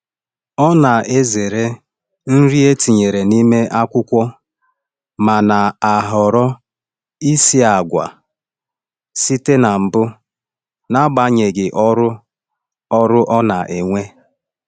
Ọ na-ezere nri e tinyere n’ime akwụkwọ ma na-ahọrọ isi agwa site na mbụ n’agbanyeghị ọrụ ọrụ ọ na-ewe.